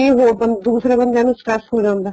ਦੂਸਰਿਆਂ ਬੰਦਿਆਂ stress ਹੋ ਜਾਂਦਾ